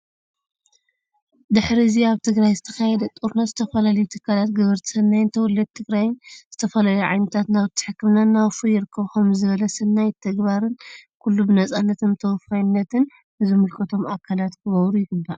ድሕዚ ኣብ ትግራይ ዝተካየደ ጦርነት ዝተፈላለዩ ትካላት፣ ገበርቲ ሰናይን ተወለድቲ ትግራይን ዝተፈላለዩ ዓይነታት ናውቲ ሕክምና እናወፈዩ ይርከቡ። ከምዚ ዝበለ ስናይ ተግባርን ኩሉ ብነፃነትን ብተወፋይነት ንዝምልከቶም ኣካላት ክገብሩ ይግባእ።